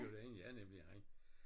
Dyrlægen ja nemlig han